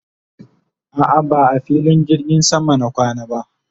a'a ba a filin jirgin sama na kwana ba